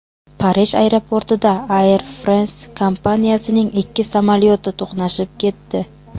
Parij aeroportida Air France kompaniyasining ikki samolyoti to‘qnashib ketdi.